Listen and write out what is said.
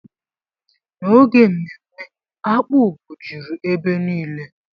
N'oge mmemme, akpu bụ juru ebe niile.